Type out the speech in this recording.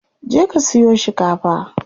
Je ka siyo shikafa.